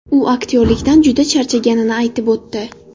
U aktyorlikdan juda charchaganini aytib o‘tdi.